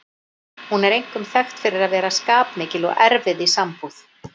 Hún er einkum þekkt fyrir að vera skapmikil og erfið í sambúð.